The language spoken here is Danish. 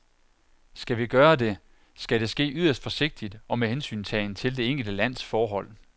Skal vi gøre det, skal det ske yderst forsigtigt og med hensyntagen til det enkelte lands forhold.